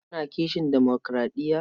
Kuna kishin demokuraɗiya?